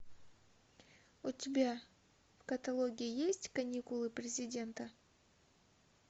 у тебя в каталоге есть каникулы президента